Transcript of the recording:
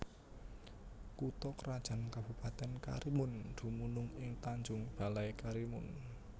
Kutha krajan Kabupatèn Karimun dumunung ing Tanjung Balai Karimun